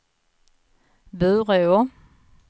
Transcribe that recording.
Bureå